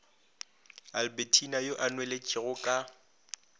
albertina yo a nweletšego ka